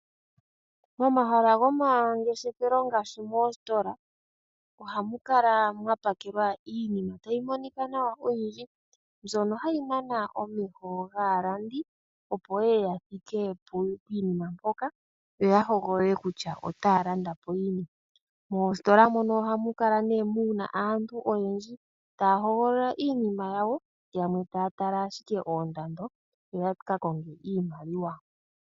Momahala gomangeshefelo ngaashi moositola ohamu kala mwa pakelwa iinima tayi monika nawa oyindji mbyono hayi nana omeho gaalandi opo yeye ya thike piinima mpoka yo ya hogolole kutya otaya landa po yini. Moositola mono ohamu kala nee muna aantu oyendji taya hogolola iinima yawo, yamwe taya tala ashike oondado yo yaka konge iimaliwa.